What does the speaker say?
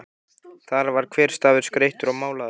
Þar var hver stafur skreyttur og málaður.